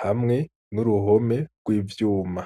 hamwe n'uruhome rw'ivyuma.